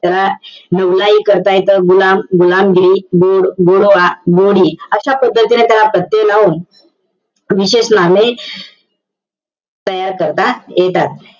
त्याला नवलाई करता येतं. गुलाम, गुलामगिरी. गोड, गोडवा, गोडी. अशा पद्धतीने त्याला प्रत्यय लावून, विशेष नामे तयार करता येतात.